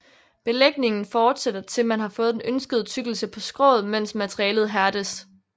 Belægningen fortsætter til man har fået den ønskede tykkelse på skroget mens materialet hærdes